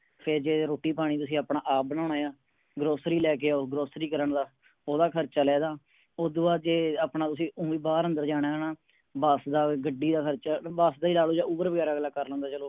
ਫੇਰ ਜੇ ਰੋਟੀ ਪਾਣੀ ਤੁਸੀਂ ਆਪਣਾ ਆਪ ਬਣਾਉਣੇ ਆ groceries ਲੈ ਕੇ ਆਓ grocery ਕਰਨ ਦਾ ਓਹਦਾ ਖਰਚਾ ਲੈਂਦਾ ਓਹਦੂ ਬਾਦ ਜੇ ਆਪਣਾ ਤੁਸੀਂ ਓਵੇ ਹੀ ਬਾਹਰ ਅੰਦਰ ਜਾਣਾ ਹੈ ਨਾ ਬੱਸ ਦਾ ਗੱਡੀ ਦਾ ਖਰਚਾ ਬੱਸ ਦਾ ਹੀ ਲਾ ਲਓ ਜਾ ਉਬਰ ਵਗੈਰਾ ਅਗਲਾ ਕਰ ਲੈਂਦਾ ਚਲੋ।